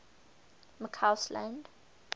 mccausland